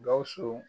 Gawusu